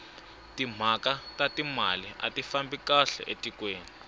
timhaka ta timali ati fambi kahle etikweni